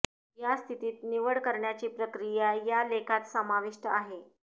या स्थितीत निवड करण्याची प्रक्रिया या लेखात समाविष्ट आहे